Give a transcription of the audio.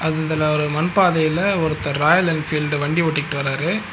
இதுல ஒரு மண் பாதைல ஒருத்தர் ராயல் என்ஃபீல்டு வண்டி ஓட்டிகிட்டு வராரு.